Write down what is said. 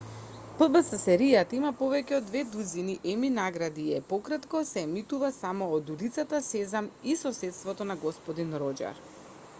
пбс-серијата има повеќе од две дузини еми награди и е пократко се емитува само од улицата сезам и соседството на господин роџер